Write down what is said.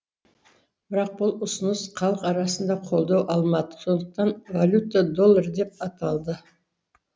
бірақ бұл ұсыныс халық арасында қолдау алмады сондықтан валюта доллар деп аталды